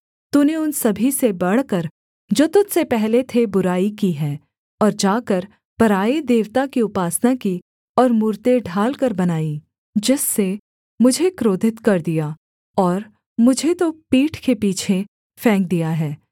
तूने उन सभी से बढ़कर जो तुझ से पहले थे बुराई की है और जाकर पराए देवता की उपासना की और मूरतें ढालकर बनाईं जिससे मुझे क्रोधित कर दिया और मुझे तो पीठ के पीछे फेंक दिया है